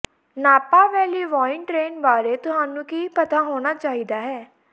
ਨਾਪਾ valley wine train ਬਾਰੇ ਤੁਹਾਨੂੰ ਕੀ ਪਤਾ ਹੋਣਾ ਚਾਹੀਦਾ ਹੈ